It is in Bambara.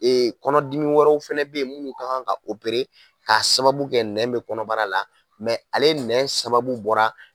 kɔnɔdimi wɛrɛw fɛnɛ be yen munnu kan ka ka sababu kɛ nɛn bi kɔnɔbara la ale nɛn sababu bɔra